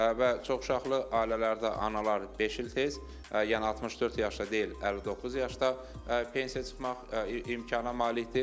Və çoxuşaqlı ailələrdə analar beş il tez, yəni 64 yaşda deyil, 59 yaşda pensiya çıxmaq imkanına malikdir.